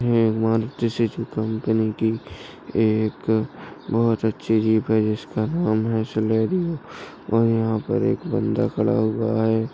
एक Maruti Suzuki company की एक बहुत अच्छी जीप है जिसका नाम है सिनेरो और यहाँ पर एक बाँदा खड़ा हुआ हैं।